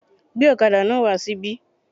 Gbé ọ̀kadà náà wà sí ibí.